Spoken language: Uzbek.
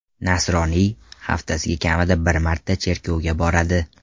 Nasroniy, haftasiga kamida bir marta cherkovga boradi.